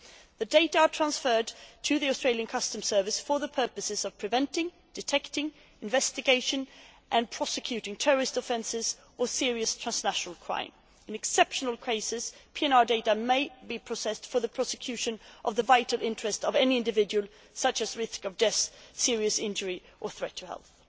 The data are transferred to the Australia customs service for the purposes of preventing, detecting, investigating and prosecuting terrorist offences or serious transnational crime. In exceptional cases, PNR data may be processed for the prosecution of the vital interest of any individual, such as risk of death, serious injury or threat to health.